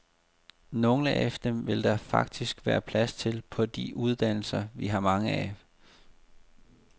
Nogle af dem vil der faktisk være plads til på de uddannelser, vi har mange af.